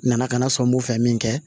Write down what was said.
Nana kana sɔn n b'o fɛ min kɛ